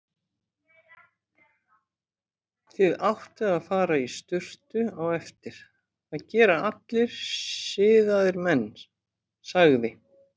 Þið áttuð að fara í sturtu á eftir, það gera allir siðaðir menn, sagði